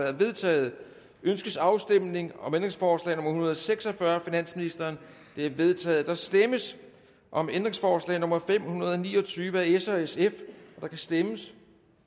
er vedtaget ønskes afstemning om ændringsforslag nummer en hundrede og seks og fyrre af finansministeren det er vedtaget der stemmes om ændringsforslag nummer fem hundrede og ni og tyve af s og sf der kan stemmes